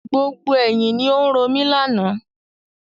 Gbogbo ẹ̀yin ni ó ń romi lànà.